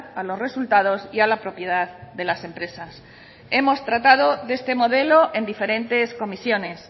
a los resultados y a la propiedad de las empresas hemos tratado de este modelo en diferentes comisiones